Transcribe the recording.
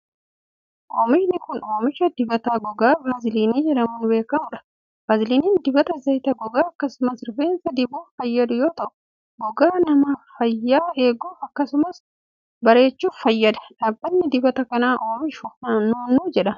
Oomishni kun oomisha dibata gogaa vaaziliinii jedhamuun beekamuu dha. Vaaziliiniin dibata zayitaa gogaa akkasumas rifeensa dibuuf fayyadu yoo ta'u, gogaa nama fayyaa eeguuf akkasumas bareechuuf fayyada. Dhaabbanni dibata kana oomishe nuunnuu jedhama.